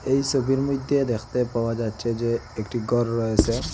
এই সবির মইধ্যে দেখতে পাওয়া যাচ্ছে যে একটি গর রয়েসে।